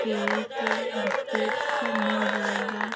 Cake biscuits सब मिल जायेगा।